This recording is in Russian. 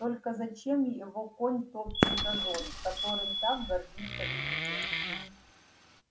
только зачем его конь топчет газон которым так гордится индия